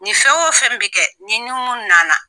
Nin fɛn o fɛn bɛɛ bɛ kɛ nin ni munnu na na